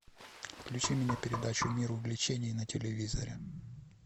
включи мне передачу мир увлечений на телевизоре